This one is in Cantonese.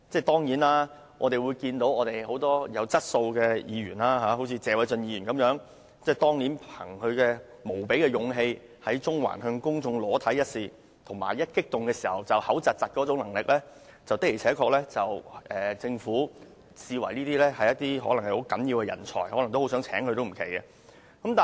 當然，我們看到很多具質素的議員，例如謝偉俊議員，憑着他以無比的勇氣在中環向公眾裸露身體一事及激動時出現口吃的能力，或許會被政府視為十分重要的人才而委以一官半職也說不定。